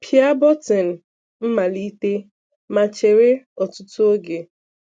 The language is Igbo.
Pịa bọ́tịǹ Malítè ma chérè̀ ọ̀tụ̀tụ̀ oge.